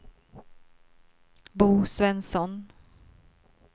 Bo Svensson